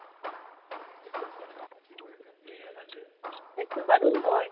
সেইটো বাৰু হয়